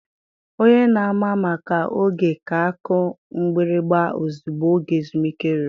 Onye na-ama maka oge ga-akụ mgbịrịgba ozugbo oge ezumike ruru.